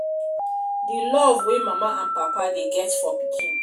di love wey mama and papa dey get for pikin